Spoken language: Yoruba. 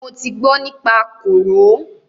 Mo ti gbọ nípa kòró.